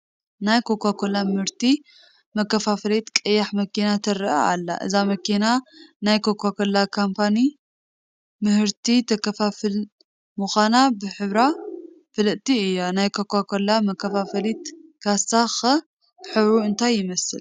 ናይ ኮካኮላ ምህርቲ መከፍፈሊት ቀያሕ መኪና ትርአ ኣላ፡፡ እዛ መኪና ናይ ኮካኮላ ካምፓኒ ምህርቲ ተከፋፍል ምዃና ብሕብራ ፍልጥቲ እያ፡፡ ናይ ኮካኮላ መከፋፈሊ ካሳ ኸ ሕብሩ እንታይ ይመስል?